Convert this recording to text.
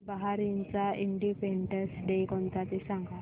बहारीनचा Independence Day कोणता ते सांगा